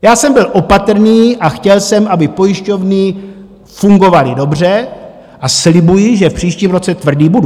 Já jsem byl opatrný a chtěl jsem, aby pojišťovny fungovaly dobře, a slibuji, že v příštím roce tvrdý budu.